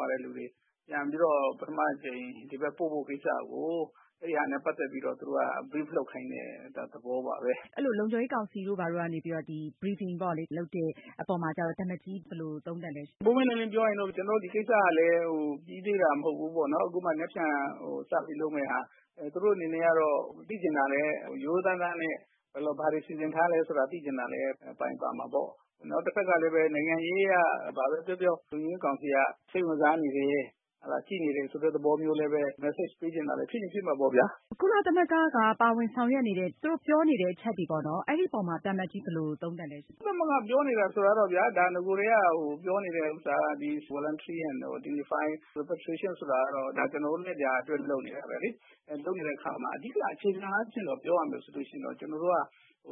ွာတဲ့ လူတွေ ပြန်ပြီးတော့ ပထမ အကြိမ် ဒီဘက် ပို့ဖို့ ကိစ္စကို အဲဒါနဲ့ ပတ်သက်ပြီးတော့ သူတို့က Brief လုပ်ခိုင်းတဲ့ သဘောပါဘဲ။ အဲလို လုံခြုံရေး ကောင်စီတို့ ဘာတို့ကနေ ဒီ Briefing ပေါ့လေ လုပ်တဲ့ အပေါ်မှာကျတော့ သံအမတ်ကြီး ဘယ်လို သုံးသပ်လဲရှင့်။ ပွင့်ပွင့်လင်းလင်း ပြောရရင်တော့ ကျနော်တို့ ဒီကိစ္စကလည်း ပြီးသေးတာ မဟုတ်ဘူးပေါ့နော်။ အခုမှ မနက်ဖြန် စပြီး လုပ်မယ့်ဟာ။ သူတို့ အနေနဲ့ကတော့ သိချင်တာလည်း ရိုးရိုးသားသားနဲ့ ဘာတွေ စီစဉ်ထားလဲ ဆိုတာလည်း သိချင်တာလည်း ပါချင်ပါမှာပေါ့။ တဖက်ကလည်း နိုင်ငံရေး အရ ဘာဘဲ ပြောပြော လုံခြုံရေး ကောင်စီက စိတ်ဝင်စားနေတယ် ကြည့်နေတယ်ဆိုတဲ့ သဘောမျိုး လည်းဘဲ Message ပေးချင်တာလည်း ဖြစ်ချင် ဖြစ်မှာပေါ့ဗျာ။ ကုလသမဂ္ဂက ပါဝင်ဆောင်ရွက်နေတဲ့ သူတို့ ပြောနေတဲ့ အချက်တွေ ပေါ့နော် အဲဒီအပေါ်မှာ သံအမတ်ကြီး ဘယ်လို သုံးသပ်လဲရှင့်။ ကုလသမဂ္ဂ ပြောနေတယ်ဆိုတာတော့ဗျာ ဒါ နဂိုတည်းက ပြောနေတဲ့ ဥစ္စာက ဒီ Voluntary and Unify Repatriation ဆိုတာကတော့ ဒါ ကျနော်တို့လည်း ဒါ အတွက် လုပ်နေတာဘဲလေ။ လုပ်နေတဲ့ အခါမှာ အဓိက အခြေခံအားဖြင့် ပြောရမယ် ဆိုလို့ ရှိရင်တော့ ကျနော်တို့က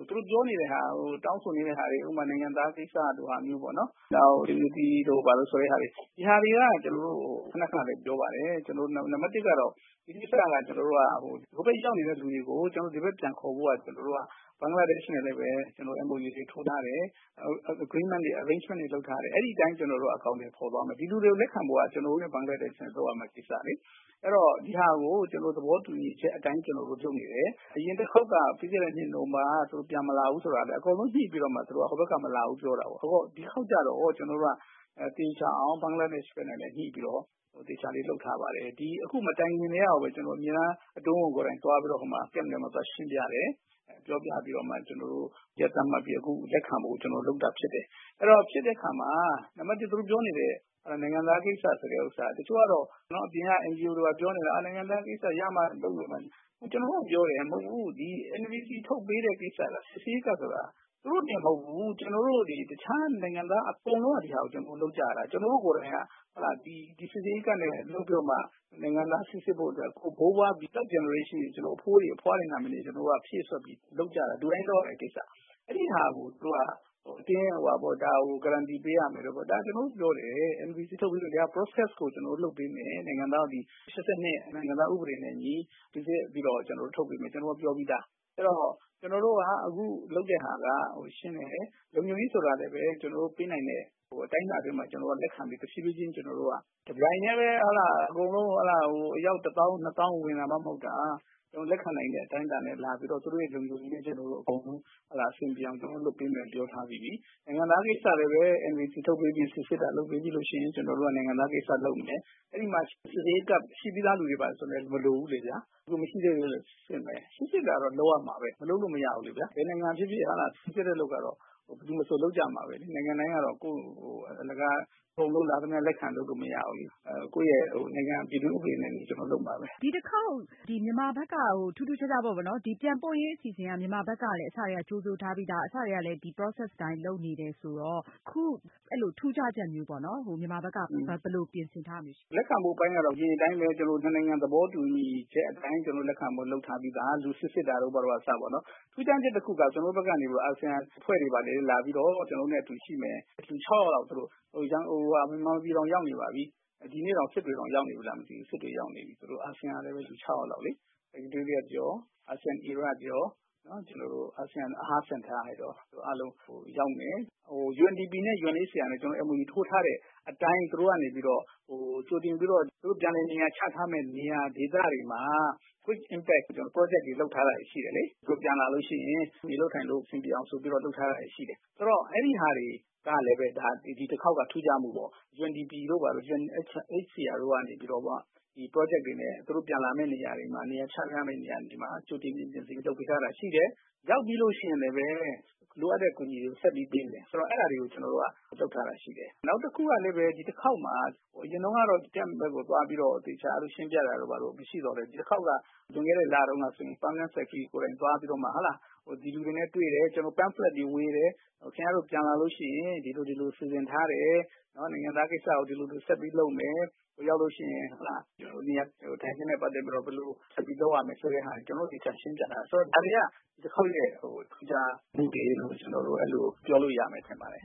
သူတို့ ပြောနေတဲ့ဟာကို တောင်းဆိုနေတဲ့ဟာတွေ ဥပမာ နိုင်ငံသား ကိစ္စလို ဟာမျိုးပေါ့၊ နောက် unity တို့ ဘာတို့ဆိုတဲ့ဟာတွေ ဒီဟာတွေက ကျနော်တို့ ခန ခနဘဲ ပြောပါတယ်။ နံပတ် ၁ ကတော့ ဒီကိစ္စက ကျနော်တို့က ဟိုဘက် ရောက်နေတဲ့ လူတွေကို ကျနော်တို့ ဒီဘက် ပြန်ခေါ်ဖို့က ကျနော်တို့က ဘင်္ဂလားဒေရှ့်နဲ့ လည်းဘဲ ကျနော်တို့ MOU တွေ ထိုးထားတယ်။ Agreement တွေ Arrangement တွေ လုပ်ထားတယ်။ အဲဒီ အတိုင်း ကျနော်တို့က အကောင်အထည် ဖော်သွားမယ်။ ဒီလူတွေကို လက်ခံဖို့က ကျနော်တို့နဲ့ ဘင်္ဂလားဒေရှ့်က လုပ်ရမယ့် ကိစ္စလေ။ အဲတော့ ဒီဟာကို ကျနော်တို့ သဘောတူညီချက် အတိုင်း ကျနော်တို့ လုပ်နေတယ်။ အရင်တခေါက်က ပြီးခဲ့တဲ့ နှစ် နိုဝင်ဘာက သူတို့ ပြန်မလာဘူးဆိုတာလည်း အကုန် ညှိပြီးတော့မှ သူတို့က ဟိုဘက်က မလာဘူး ပြောတာ။ ဒီတခေါက်ကျတော့ ကျနော်တို့က သေချာအောင် ဘင်္ဂလားဒေရှ့် နဲ့လည်း ညှိပြီးတော့ သေချာလေး လုပ်ထားပါတယ်။ ဒီ အခု မတိုင်ခင်ကတည်းက ကိုဘဲ အမြဲတမ်း အတွင်းဝန် ကိုယ်တိုင် သွားပြီးတော့မှာ Camp ထဲမှာ သွားရှင်းပြတယ်။ ပြောပြပြီးတော့မှ ကျနော်တု့ိ ရက်သတ်မှတ်ပြီးမှ လက်ခံဖို့ ကျနော်တို့ လုပ်တာ ဖြစ်ပါတယ်။ အဲတော့ ဖြစ်တဲ့ အခါမှာ နံပတ် ၁ သူတို့ ပြောနေတဲ့ နိုင်ငံသား ကိစ္စ ဆိုတဲ့ ဥစ္စာက တချို့ကတော့နော် အပြင်က NGO တွေ ဘာတွေ ပြောနေတာ နိုင်ငံသား ကိစ္စ ရမှ လုပ်မယ် ဘာညာ။ ကျနော်တို့က ပြောတယ်။ မဟုတ်ဘူး ဒီ NVC ထုတ်ပေးတဲ့ ကိစ္စက စစ်ဆေးရေးကတ်ဆိုတာ သူတို့တင် မဟုတ်ဘူး ကျနော်တို့ ဒီ တခြား နိုင်ငံသား အကုန်လုံးက ဒီဟာကို လုပ်ကြရတာ။ ကျနော်တို့ ကိုယ်တိုင်က ဒီ စစ်ဆေးရေးကတ်နဲ့ လုပ်ပြီးတော့မှ နိုင်ငံသား စိစစ်ဖို့ အတွက် ဘိုးဘွား ဒီ Third Generation အထိ ကျနော်တို့ အဘိုးတွေ အဘွားတွေ ရဲ့ နာမည်တွေ ကျနော်တို့က ဖြည့်စွက်ပြီးတော့ လုပ်ကြတာ။ လူတိုင်း လုပ်ရမယ့် ကိစ္စ။ အဲဒီဟာကို သူတို့က အတင်း အဝှာပေါ့ ဒါကို Guaranty ပေးရမယ်တို့ ဘာတို့။ ကျနော်တို့ ပြောတယ် NVC လုပ်ပြီးတော့ ဒီ Process ကို လုပ်ပေးမယ်။ နိုင်ငံသား ဒီ ၈၂ နိုင်ငံသား ဥပဒေနဲ့ အညီ စိစစ်ပြီးတော့ ကျနော်တို့ ထုတ်ပေးမယ်။ ကျနော်တို့ ပြောပြီးသား။ ကျနော်တို့က အခု လုပ်တဲ့ဟာက ရှင်းတယ်။ လုံခြုံရေး ဆိုတာလည်းဘဲ ကျနော်တို့ ပေးနိုင်တဲ့ အတိုင်းအတာ အတွင်းမှာ ကျနော်တို့က လက်ခံပြီး ကျနော်တို့ တဖြည်းဖြည်းချင်း ကျနော်တို့က တပြိုင်တည်းဘဲ ဟုတ်လား အကုန်လုံး ဟုတ်လား ဟို အယောက် ၁၀၀၀၀ - ၂၀၀၀၀ ဝင်တာမှ မဟုတ်တာ။ လက်ခံနိုင်တဲ့ အတိုင်းအတာနဲ့ လာပြီးတော့ သူတို့ရဲ့ လုံခြုံရေး အကုန်လုံး ကျနော်တို့ အဆင်ပြေအောင် လုပ်ပေးမယ် ပြောထားပြီးပြီ။ နိုင်ငံသား ကိစ္စ ကိုလည်း NVC ထုတ်ပေးပြီး စစ်ဆေးတာ လုပ်ပေးပြီးလို့ ရှိရင် ကျနော်တို့က နိုင်ငံသား ကိစ္စ လုပ်မယ်။ အဲဒီမှာ စိစစ်ရေးကတ် ဖြည့်ပြီးသား လူတွေ ဘာတွေ ဆိုလည်း မလိုဘူးလေဗျာ။ မရှိသေးဘူးဆို စစ်ဆေးမယ်။ စစ်ဆေးတာတော့ လုပ်ရမှာဘဲ။ မလုပ်လို့ မရဘူးလေဗျာ။ ဘယ်နိုင်ငံ ဖြစ်ဖြစ် ဟုတ်လား စစ်ဆေးတဲ့ အလုပ်ကတော့ ဘယ်သူမဆို လုပ်ကြမှာဘဲလေ။ နိုင်ငံတိုင်း ကတော့ ကိုယ့် အလကား အကုန်လုံး လာသမျှ လက်ခံ လုပ်လို့ မရဘူးလေ။ ကိုယ့်ရဲ့ နိုင်ငံ ပြည်တွင်း ဥပဒေတွေနဲ့ အညီ ကျနော်တို့ လုပ်မှာဘဲ။ ဒီတခေါက် ဒီမြန်မာဘက်က ထူးထူးခြားခြားပေါ့နော် ပြန်ပို့ရေး အစီအစဉ်က မြန်မာဘက်ကလည်း အစကတည်းက ကြိုဆိုထားပြီးသား အစကတည်းက ဒီ Process အတိုင်း လုပ်နေတယ်ဆိုတော့ အခု ထူးခြားချက်မျိုးပေါ့နော် မြန်မာဘက်က ဘယ်လို ပြင်ဆင်ထားတာမျိုး ရှိလဲ။ လက်ခံမှု အပိုင်းကတော့ အရင်အတိုင်းဘဲ ကျနော်တို့ နှစ်နိုင်ငံ သဘောတူညီချက် အတိုင်း လက်ခံဖို့ လုပ်ထားပြီးသား။ ဆေးစစ်တာတို့ ဘာတို့က အစပေါ့နော်။ ထူးခြားချက် တခုက ကျနော်တို့ဘက်က နေပြီးတော့ အာဆီယံ အဖွဲ့တွေ ဘာတွေ လာပြီးတော့ ကျနော်တို့နဲ့ အတူရှိမယ်။ လူ ၆ ယောက်လောက် မြန်မာပြည်တောင် ရောက်နေပါပြီ။ ဒီနေ့တောင် စစ်တွေတောင် ရောက်နေပြီလား မသိဘူး။ စစ်တွေ ရောက်နေပြီ သူတို့ အာဆီယံကလည်း လူ ၆ ယောက်လောက်လေ။ ဟို UNDP နဲ့ UNHCR နဲ့ ကျနော်တို့ MOU ထိုးထားတဲ့ အတိုင်း သူတို့ ကနေပြီးတော့ ဟိုကြိုတင်ပြီးတော့ ပြန်လည်နေရာချထားမယ့် နေရာ ဒေသတွေမှာ Quick Impact Project တွေ လုပ်ထားတာတွေ ရှိတယ်လေ။ သူတို့ ပြန်လာလို့ ရှိရင် နေလို့ ထိုင်လို့ အဆင်ပြေအောင် ဆိုပြီးတော့ လုပ်ထားတာ ရှိတယ်။ ဆိုတော့ အဲဒီဟာတွေကလည်းဘဲ ဒီတခေါက်က ထူးခြားမှုပေါ့။ UNDP တို့ ဘာတို့ UNHCR တို့က နေပြီးတော့မှ ဒီ ပရောဂျက်တွေနဲ့ သူတို့ ပြန်လာမယ့် နေရာတွေမှာ နေရာချထားမယ့် နေရာတွေမှာ ကြိုတင် ပြင်ဆင်ပေးထားတာ ရှိတယ်။ ရောက်ပြီးလို့ ရှိရင်လည်းဘဲ လိုအပ်တဲ့ အကူအညီတွေကို ဆက်ပြီး ပေးမယ်။ ဆိုတော့ အဲဒါတွေကို ကျနော်တို့က လုပ်ထားတာ ရှိတယ်။ နောက်တခုကလည်းဘဲ ဒီတခေါက်မှာ အရင်တုန်းကတော့ Camp ထဲကို သွားပြီးတော့သေချာ ရှင်းပြတာတို့ ဘာတို့ မရှိသော်လည်းဘဲ ဒီတခေါက်က လွန်ခဲ့တဲ့ လတုန်းက ဆိုရင် Permanent Secretary ကိုယ်တိုင် သွားပြီးတော့မှ ဒီလူတွေနဲ့ တွေ့တယ်၊ ကျနော်တို့ Pamphlet တွေ ဝေတယ်၊ ခင်ဗျားတို့ ပြန်လာလို့ ရှိရင် ဒီလို ဒီလို စီစဉ်ထားတယ်။ နိုင်ငံသား ကိစ္စကို ဒီလို ဒီလို ဆက်ပြီး လုပ်မယ်။ ဟိုရောက်လို့ ရှိရင် နေရာထိုင်ခင်းနဲ့ ပတ်သက်ပြီးတော့ ဘယ်လို ဆက်ပြီး လုပ်ရမယ်ဆိုတဲ့ဟာတွေကို ကျနော်တို့ သေချာ ရှင်းပြထားတယ် ဆိုတော့ ဒါတွေက ဒီတခေါက်ရဲ့ ထူးခြားမှုတွေလို့ ကျနော်တို့ အဲလို ပြောလို့ ရမယ် ထင်ပါတယ်